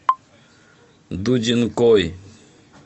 дудинкой